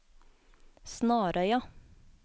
Snarøya